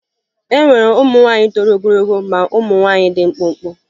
E nwere ụmụ nwaanyị toro ogologo ma ụmụ nwaanyị dị mkpụmkpụ